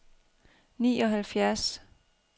nioghalvfjerds